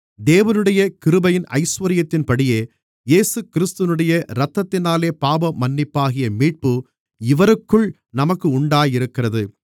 தேவனுடைய கிருபையின் ஐசுவரியத்தின்படியே இயேசுகிறிஸ்துவினுடைய இரத்தத்தினாலே பாவமன்னிப்பாகிய மீட்பு இவருக்குள் நமக்கு உண்டாயிருக்கிறது